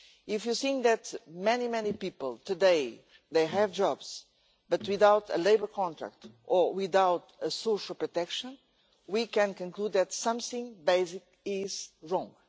If we consider that many, many people today have jobs but without a labour contract or without social protection, we can conclude that something basic is wrong.